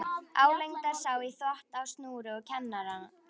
Álengdar sá í þvott á snúru og kamar.